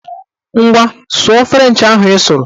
Ngwa, sụọ frenchị ahụ ị sụrụ!